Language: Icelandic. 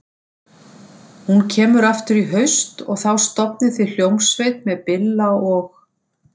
Hún kemur aftur í haust og þá stofnið þið hljómsveit með Billa og